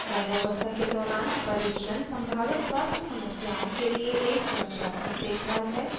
गर्भावस्था के दौरान परीक्षण संभावित स्वास्थ्य समस्याओं के लिए एक सुरक्षात्मक देखभाल है